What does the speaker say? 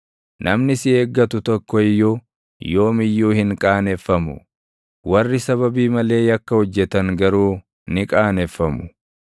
Namni si eeggatu tokko iyyuu yoom iyyuu hin qaaneffamu; warri sababii malee yakka hojjetan garuu ni qaaneffamu.